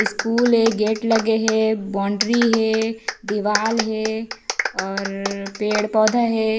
School हे gate लगे हे बाउंड्री हे दीवाल हे और पेड़-पौधा हे।